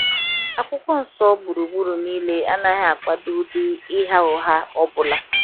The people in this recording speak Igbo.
akwụkwọ nsọ gbụrụgbụrụ niile- anaghi akwado ụdị ịgha ụgha ọbụla.